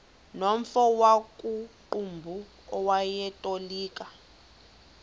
nomfo wakuqumbu owayetolika